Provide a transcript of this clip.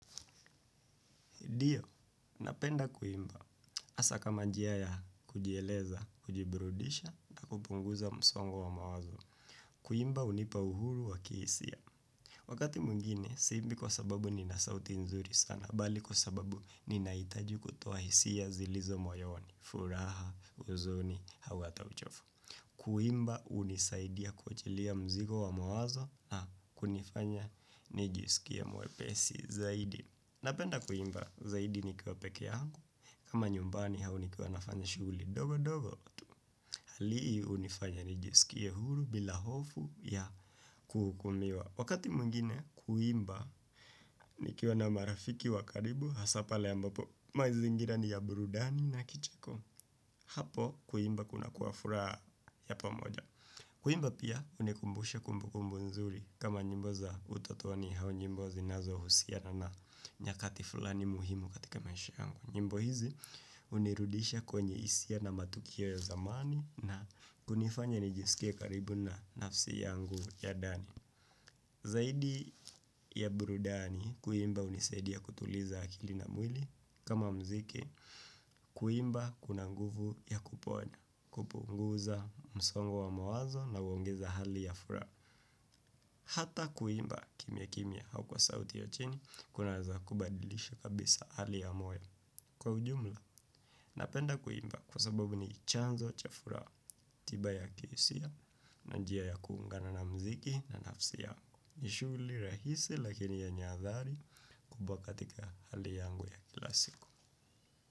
Ndio, napenda kuimba hasa kama njia ya kujieleza, kujiburudisha na kupunguza msongo wa mawazo. Kuimba hunipa uhuru wa kihisia. Wakati mwingine, siimbi kwa sababu ninasauti nzuri sana, bali kwa sababu ninahitaji kutoa hisia zilizo moyoni, furaha, uzoni, au hata uchovu. Kuimba hunisaidia kuchilia mzigo wa mawazo na kunifanya nijisikie mwepesi zaidi. Napenda kuimba zaidi nikiwa peke yangu. Kama nyumbani au nikiwa nafanya shuguli ndogo ndogo. Hali hunifanya nijisikie huru bila hofu ya kuhukumiwa. Wakati mwingine kuimba nikiwa na marafiki wa karibu hasa pale ambapo maizingira ni ya burudani na kicheko. Hapo kuimba kuna kuwa furaha ya pamoja. Kuimba pia hunikumbusha kumbukumbu nzuri kama nyimbo za utotoni au nyimbo zinazohusiana na nyakati fulani muhimu katika maish yangu. Nyimbo hizi hunirudisha kwenye hisia na matukio ya zamani na kunifanya nijisikie karibu na nafsi yangu ya ndani. Zaidi ya burudani, kuimba hunisaidia kutuliza akili na mwili kama mziki, kuimba kuna nguvu ya kuponya, kupunguza msongo wa mawazo na huongeza hali ya furaha. Hata kuimba kimya kimya au kwa sauti ya chini, kunaeza kubadilisha kabisa hali ya moyo kwa ujumla. Napenda kuimba kwa sababu ni chanzo cha furaha, tiba ya kihisia na njia ya kuungana na mziki na nafsi yangu. Ni shuguli rahisi lakini yenye adhari kubwa katika hali yangu ya kila siku.